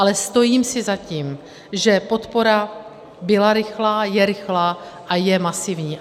Ale stojím si za tím, že podpora byla rychlá, je rychlá a je masivní.